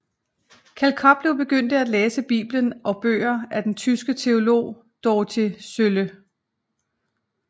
Kjeld Koplev begyndte at læse Bibelen og bøger af den tyske teolog Dorothee Sölle